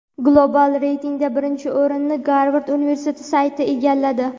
Global reytingda birinchi o‘rinni Garvard universiteti sayti egalladi.